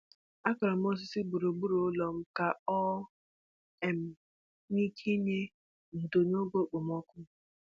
Akụrụ m osisi gburugburu ụlọ m ka o um nwee ike inye ndò n’oge okpomọkụ.